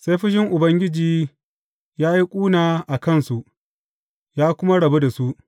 Sai fushin Ubangiji ya yi ƙuna a kansu, ya kuma rabu da su.